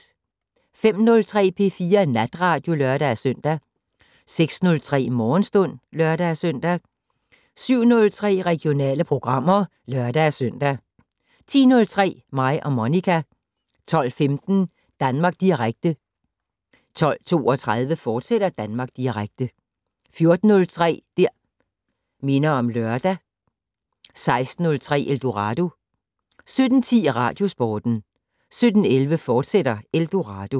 05:03: P4 Natradio (lør-søn) 06:03: Morgenstund (lør-søn) 07:03: Regionale programmer (lør-søn) 10:03: Mig og Monica 12:15: Danmark Direkte 12:32: Danmark Direkte, fortsat 14:03: Det' Minder om Lørdag 16:03: Eldorado 17:10: Radiosporten 17:11: Eldorado, fortsat